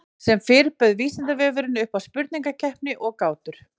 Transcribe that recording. Sem fyrr bauð Vísindavefurinn upp á spurningakeppni og gátur.